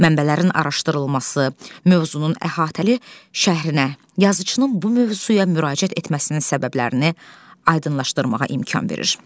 Mənbələrin araşdırılması, mövzunun əhatəli şəhrinə, yazıçının bu mövzuya müraciət etməsinin səbəblərini aydınlaşdırmağa imkan verir.